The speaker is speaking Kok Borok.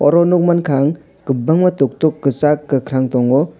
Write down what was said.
aro nogmangka ang kobangma tok tok kosag kokarang tango.